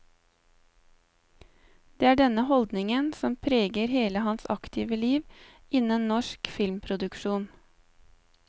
Det er denne holdningen som preger hele hans aktive liv innen norsk filmproduksjon.